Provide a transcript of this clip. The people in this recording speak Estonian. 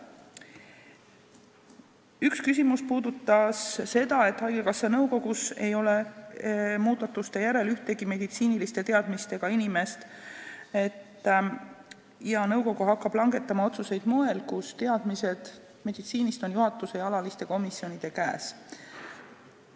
Üks küsimus käsitles seda, et haigekassa nõukogus ei ole muudatuste järel ühtegi meditsiiniliste teadmistega inimest ja nõukogu hakkab langetama otsuseid sel moel, et teadmised meditsiinist on juhatusel ja alalistel komisjonidel.